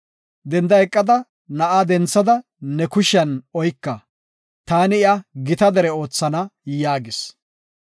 danda eqada, na7a denthada ne kushiyan oyka; taani iya gita dere oothana” yaagis.